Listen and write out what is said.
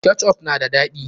Ketchup na da daɗi.